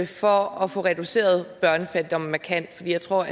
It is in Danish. for at få reduceret børnefattigdommen markant for jeg tror